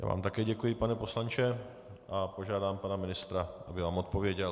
Já vám také děkuji, pane poslanče, a požádám pana ministra, aby vám odpověděl.